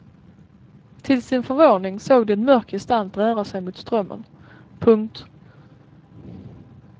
Till sin förvåning såg de en mörk gestalt röra sig mot strömmen. punkt